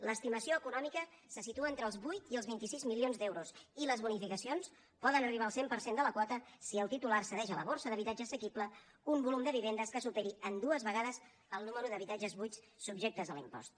l’estimació econòmica se situa entre els vuit i els vint sis milions d’euros i les bonificacions poden arribar al cent per cent de la quota si el titular cedeix a la borsa d’habitatge assequible un volum de vivendes que superi en dues vegades el nombre d’habitatges buits subjectes a l’impost